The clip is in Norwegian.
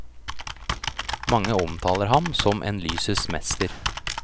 Mange omtaler ham som en lysets mester.